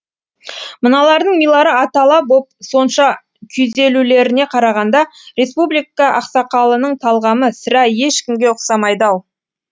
мыналардың милары атала боп сонша күйзелулеріне қарағанда республика ақсақалының талғамы сірә ешкімге ұқсамайды ау